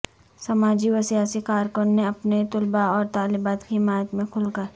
سماجی و سیاسی کارکنان نے اپنے طلباء اور طلبات کی حمایت میں کھل کر